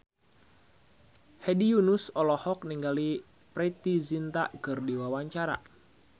Hedi Yunus olohok ningali Preity Zinta keur diwawancara